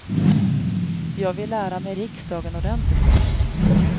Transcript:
Jag vill lära mig riksdagen ordentligt först.